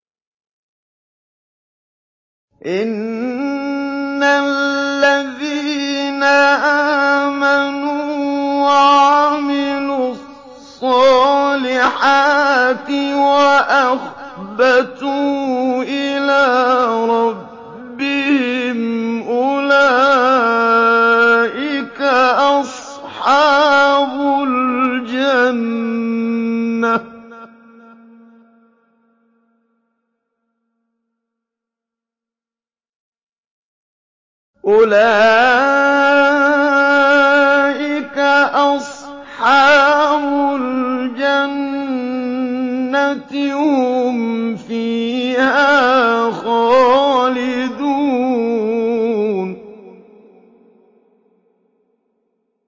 إِنَّ الَّذِينَ آمَنُوا وَعَمِلُوا الصَّالِحَاتِ وَأَخْبَتُوا إِلَىٰ رَبِّهِمْ أُولَٰئِكَ أَصْحَابُ الْجَنَّةِ ۖ هُمْ فِيهَا خَالِدُونَ